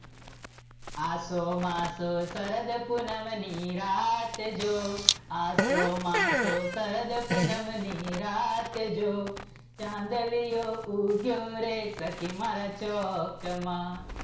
આસો માંસો શરદ પૂનમ ની રાત જો, આસો માંસો શરદ પૂનમ ની રાત જો, ચાંદલિયો ઉગ્યો રે સખી મારા ચોકમાં